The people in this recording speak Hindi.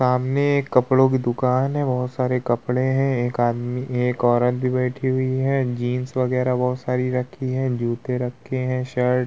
सामने एक कपड़ो की दुकान है बहोत सारे कपड़े है एक आदमी एक औरत भी बैठी हुई है जीन्स वगैरा बहोत सारी रखी है जूते रखे है शर्ट --